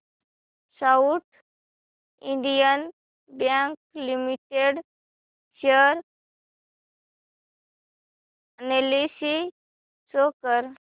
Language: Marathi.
south Indian Bank Limited share analysis show कर